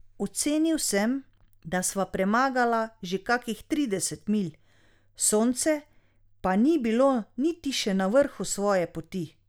Ocenil sem, da sva premagala že kakih trideset milj, sonce pa ni bilo niti še na vrhu svoje poti.